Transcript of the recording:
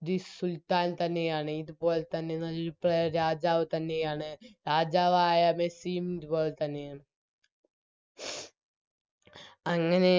The സുൽത്താൻ തന്നെയാണ് ഇതുപോൽത്തന്നെ നല് Player രാജാവുതന്നെയാണ് രാജാവായ മെസ്സിയും ഇതുപോൽത്തന്നെയാണ് അങ്ങനെ